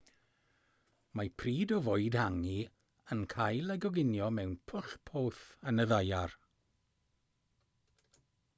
mae pryd o fwyd hangi yn cael ei goginio mewn pwll poeth yn y ddaear